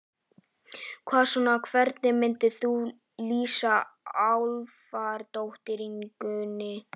Hvað svona, hvernig myndir þú lýsa álfadrottningunni?